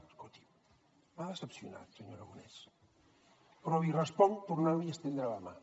escolti’m m’ha decepcionat senyor aragonès però li responc tornant li a estendre la mà